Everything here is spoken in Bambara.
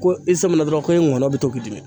Ko i sɔmina dɔrɔn ko i ngɔnɔn bɛ to k'i dimi.